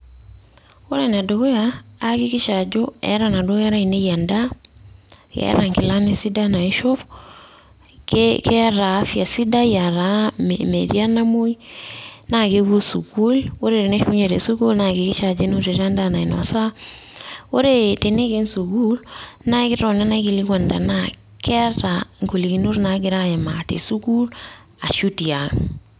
Ore enedukuya, aakikisha ajo, eeta naduo kera ainei endaa, ketaa nkilani sidan naishop, keeta afya sidai, ah taa metii enamoi, na kepuo sukuul. Ore teneshukunye tesukuul, naakikisha ajo enotito endaa nainosa. Ore teneiken sukuul, naa ekitoni naikilikwan enaa golikinot nagira aimaa tesukuul ashu tiang'.